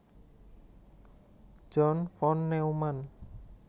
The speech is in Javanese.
John von Neumann